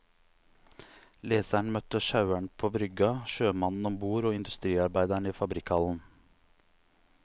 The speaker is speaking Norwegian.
Leseren møter sjaueren på brygga, sjømannen ombord og industriarbeideren i fabrikkhallen.